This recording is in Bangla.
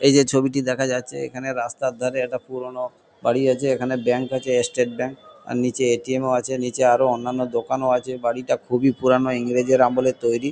এই যে ছবিটি দেখা যাচ্ছে এখানে রাস্তার ধারে একটা পুরোনো বাড়ি আছে। এখানে ব্যাঙ্ক আছে। State bank. আর নীচে এ.টি.এম. -ও আছে। নীচে আরও অন্যান্য দোকানও আছে। বাড়িটা খুবই পুরানো। ইংরেজের আমলে তৈরী।